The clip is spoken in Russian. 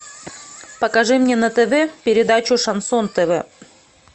покажи мне на тв передачу шансон тв